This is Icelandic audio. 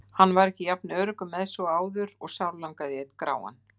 Hann var ekki jafn öruggur með sig og áður og sárlangaði í einn gráan.